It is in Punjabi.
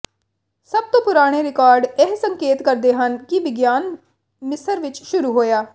ਸਭ ਤੋਂ ਪੁਰਾਣੇ ਰਿਕਾਰਡ ਇਹ ਸੰਕੇਤ ਕਰਦੇ ਹਨ ਕਿ ਵਿਗਿਆਨ ਮਿਸਰ ਵਿੱਚ ਸ਼ੁਰੂ ਹੋਇਆ